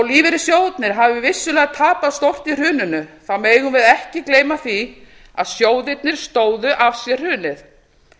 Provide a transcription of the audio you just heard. lífeyrissjóðirnir hafi vissulega tapað stórt í hruninu megum við ekki gleyma því að sjóðirnir stóðu af sér hrunið